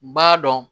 B'a dɔn